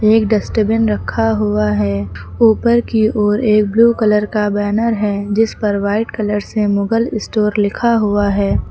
एक डस्टबिन रखा हुआ है ऊपर की ओर एक ब्लू कलर का बैनर है जिस पर वाइट कलर से मुगल स्टोर लिखा हुआ है।